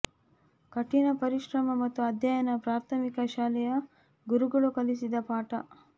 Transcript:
ಕಠಿಣ ಪರಿಶ್ರಮ ಮತ್ತು ಅಧ್ಯಯನ ಪ್ರಾಥಮಿಕ ಶಾಲೆಯ ಗುರುಗಳು ಕಲಿಸಿದ ಪಾಠ